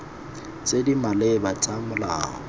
tse di maleba tsa molao